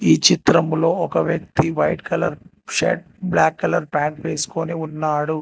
ఈ చిత్రంలో ఒక వ్యక్తి white colour shirt black colour pant వేసుకొని ఉన్నాడు.